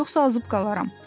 Yoxsa azıb qalaram.